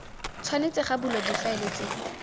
tshwanetse ga bulwa difaele tse